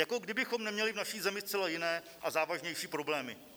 Jako kdybychom neměli v naší zemi zcela jiné a závažnější problémy.